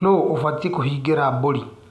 Nũ ũbatie kũhingĩra mbũri.